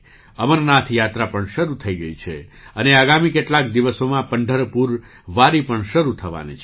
અમરનાથ યાત્રા પણ શરૂ થઈ ગઈ છે અને આગામી કેટલાક દિવસોમાં પંઢરપુર વારી પણ શરૂ થવાની છે